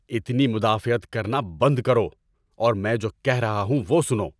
اتنی مدافعت کرنا بند کرو اور میں جو کہہ رہا ہوں وہ سنو۔